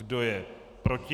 Kdo je proti?